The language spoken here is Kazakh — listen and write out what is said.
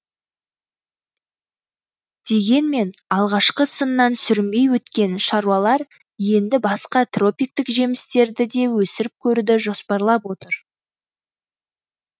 дегенмен алғашқы сыннан сүрінбей өткен шаруалар енді басқа тропиктік жемістерді де өсіріп көруді жоспарлап отыр